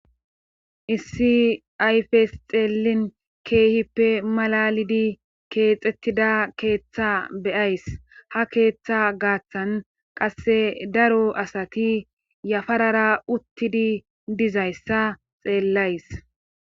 issi ayfes xeelin keehippe malalidi keexettida keeththa beyays ha keeththa gaaththan qasse daro asati yafarara uttidi dizayssa xeellays